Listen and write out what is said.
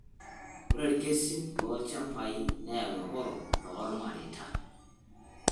Ore ilkesin lolchambai neyau eworo toolmareita.